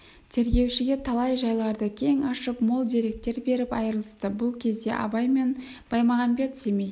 тергеушіге талай жайларды кең ашып мол деректер беріп айырылысты бұл кезде абай мен баймағамбет семей